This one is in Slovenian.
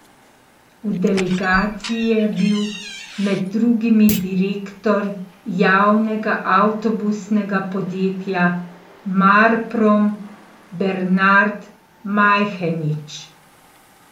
V delegaciji je bil med drugimi direktor javnega avtobusnega podjetja Marprom Bernard Majhenič.